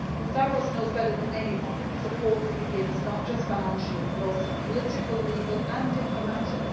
Stavros knows better than anyone that the support that we give is not just financial, but also political, legal and diplomatic.